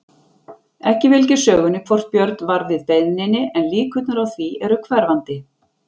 Ekki fylgir sögunni hvort Björn varð við beiðninni en líkurnar á því eru hverfandi.